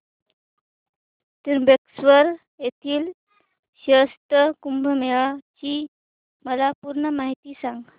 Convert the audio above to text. त्र्यंबकेश्वर येथील सिंहस्थ कुंभमेळा ची मला पूर्ण माहिती सांग